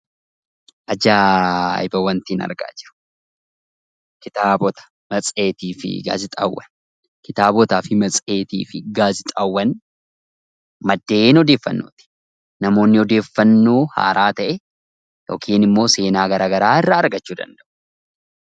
Kitaabota, matseetii fi gaazexaawwan maddeen odeeffannooti. Namoonni odeeffannoo haaraa ta'e yookiin immoo seenaa garaagaraa irraa argachuu danda'u.